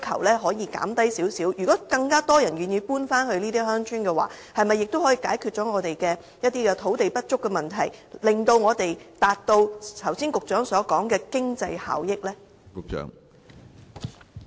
如果更多人願意搬回這些鄉村，是否亦可以解決我們土地不足的問題，以達致局長剛才所說的經濟效益呢？